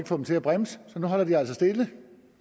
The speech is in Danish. få dem til at bremse så nu holder de altså stille